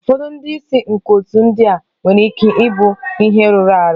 Ụfọdụ ndị isi nke otu ndị a nwere ike ịbụ ihe rụrụ arụ.